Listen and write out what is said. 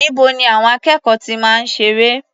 Níbo ni àwọn akẹ́kọ̀ọ́ ti máa ń ṣeré?